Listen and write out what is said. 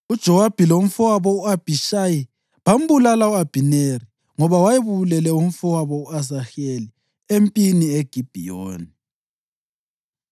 (UJowabi lomfowabo u-Abhishayi bambulala u-Abhineri ngoba wayebulele umfowabo u-Asaheli empini eGibhiyoni.)